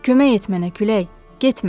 Kömək et mənə külək, getmə.